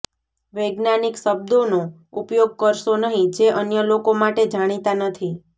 વૈજ્ઞાનિક શબ્દોનો ઉપયોગ કરશો નહીં જે અન્ય લોકો માટે જાણીતા નથી